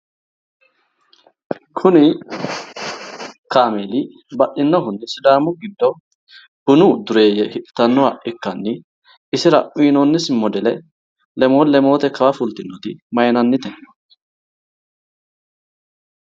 Kuni kaameeli baxxinnohunni sdaami giddo bunu dureeyye hidhitannoha ikkanni isira uuyiinoonisi modele lemoote kawa fultinoti maayiinannitekka?